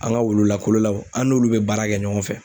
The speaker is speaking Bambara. An ka wulu lakololaw an n'olu bɛ baara kɛ ɲɔgɔn fɛ.